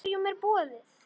Hverjum er boðið?